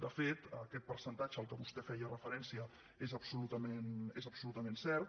de fet aquest percentatge a què vostè feia referència és absolutament cert